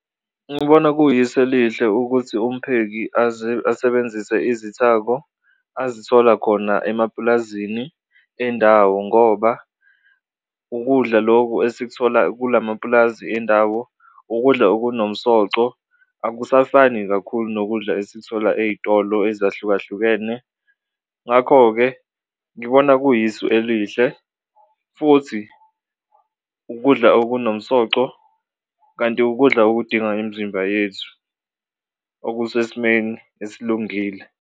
Ngibona kuyisu elihle ukuthi upheki asebenzise izithako azithola khona emapulazini endawo ngoba ukudla loku esikuthola kula mapulazi endawo ukudla okunomsoco, akusafani kakhulu nokudla esikuthola ey'tolo ezahlukahlukene. Ngakho-ke ngibona kuyisu elihle futhi ukudla okunomsoco kanti ukudla okudinga imizimba yethu okusesimeni esilungile.